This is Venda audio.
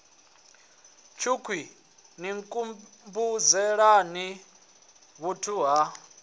tshukhwii ni nkhumbudzelani vhuthu ha